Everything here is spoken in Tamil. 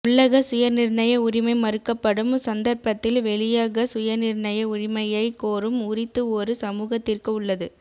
உள்ளக சுயநிர்ணய உரிமை மறுக்கப்படும் சந்தர்ப்பத்தில் வெளியக சுயநிர்ணய உரிமையைக் கோரும் உரித்து ஒரு சமூகத்திற்கு உள்ளது